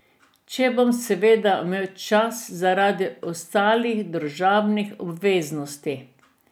Če bom seveda imel čas zaradi ostalih družabnih obveznosti.